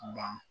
Ban